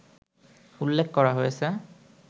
উল্লেখ করা হয়েছে